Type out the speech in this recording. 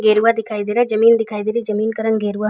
गेरुआ दिखाई दे रहा है जमीन दिखाई दे रही हे जमीन का रंग गेरुआ --